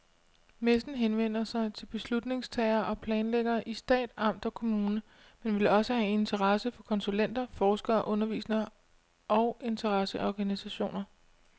Messen henvender sig til beslutningstagere og planlæggere i stat, amt og kommune, men vil også have interesse for konsulenter, forskere, undervisere og interesseorganisationer.